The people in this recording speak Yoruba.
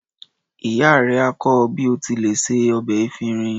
Ìyá rẹ á kọ́ ọ bí o ti lè se ọbẹ̀ efinrin.